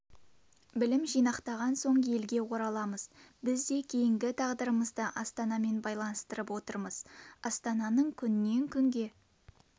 білім жинақтаған соң елге ораламыз біз де кейінгі тағдырымызды астанамен байланыстырып отырмыз астананың күннен күнге